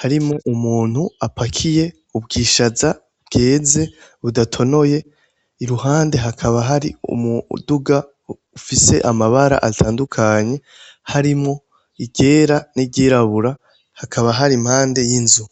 harimwo umuntu apakiye ubwishaza bweze budatonoye iruhande hakaba hari umuduga ufise amabara atandukanye harimwo iryera n'iryirabura hakaba hari impande y'inzu